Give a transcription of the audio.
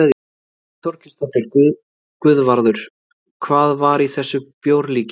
Þórhildur Þorkelsdóttir: Guðvarður, hvað var í þessu bjórlíki?